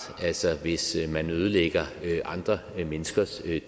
hvis man ødelægger andre menneskers